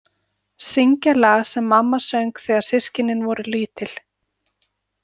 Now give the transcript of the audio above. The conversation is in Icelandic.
Syngja lag sem mamma söng þegar systkinin voru lítil.